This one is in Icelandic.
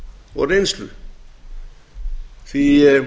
og reynslu það er